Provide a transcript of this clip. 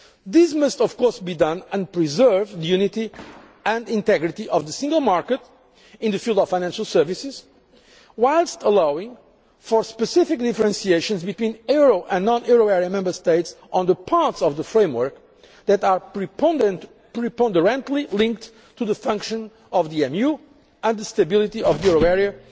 This must of course be done and must preserve the unity and integrity of the single market in the field of financial services, whilst allowing for specific differentiations between euro and non euro area Member States on those parts of the framework that are preponderantly linked to the functioning of the EMU and the stability of the euro